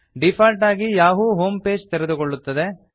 default ಆಗಿ Yahoo home page ತೆರೆದುಕೊಳ್ಳುತ್ತದೆ